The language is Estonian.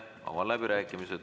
Avan läbirääkimised.